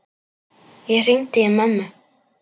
Ég hringdi í mömmu.